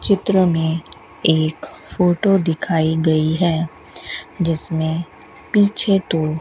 चित्र में एक फोटो दिखाई गई है जिसमें पीछे तो --